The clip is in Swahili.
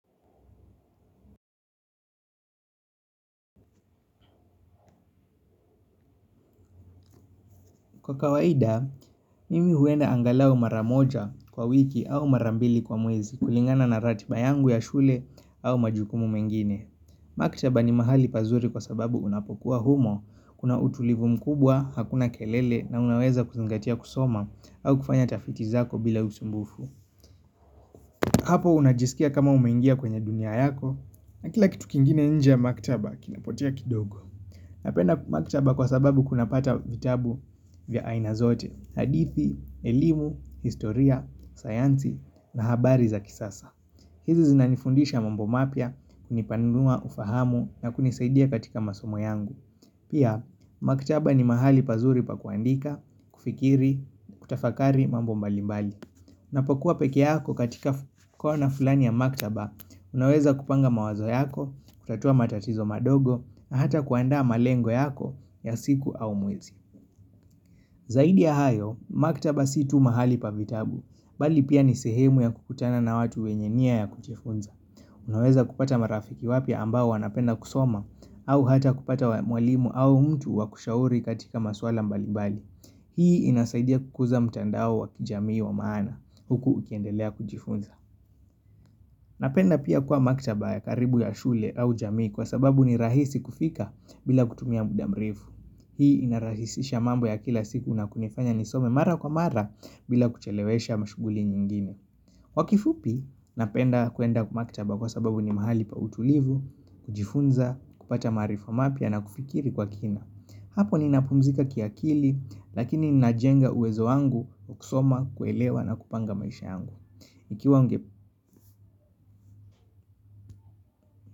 Kwa kawaida, mimi huenda angalau maramoja kwa wiki au marambili kwa mwezi kulingana na ratiba yangu ya shule au majukumu mengine. Maktaba ni mahali pazuri kwa sababu unapokuwa humo, kuna utulivu mkubwa, hakuna kelele na unaweza kuzingatia kusoma au kufanya tafiti zako bila usumbufu. Hapo unajisikia kama umeingia kwenye dunia yako, na kila kitu kingine nje ya maktaba kinapotea kidogo. Napenda maktaba kwa sababu kuna pata vitabu vya aina zote, hadithi, elimu, historia, sayanzi na habari za kisasa. Hizi zinanifundisha mambo mapya, kunipanua, ufahamu na kunisaidia katika masomo yangu. Pia, maktaba ni mahali pazuri pa kuandika, kufikiri, kutafakari mambo mbalimbali. Napokua peke yako katika kona fulani ya maktaba, unaweza kupanga mawazo yako, kutatua matatizo madogo, na hata kuandaa malengo yako ya siku au mwezi. Zaidi ya hayo, maktaba si tu mahali pa vitabu, bali pia ni sehemu ya kukutana na watu wenye nia ya kujifunza. Unaweza kupata marafiki wapya ambao wanapenda kusoma, au hata kupata mwalimu au mtu wa kushauri katika maswala mbalibali. Hii inasaidia kukuza mtandao wa kijamii wa maana huku ukiendelea kujifunza. Napenda pia kuwa makitaba ya karibu ya shule au jamii kwa sababu ni rahisi kufika bila kutumia muda mrefu. Hii inarahisisha mambo ya kila siku nakunifanya nisome mara kwa mara bila kuchelewesha mashuguli nyingine. Wa kifupi napenda kuenda kwa makitaba kwa sababu ni mahali pa utulivu, kujifunza, kupata marifa wa mapya na kufikiri kwa kina. Hapo ni napumzika kiakili lakini najenga uwezo wangu kusoma kuelewa na kupanga maisha yangu. Ikiwa nge.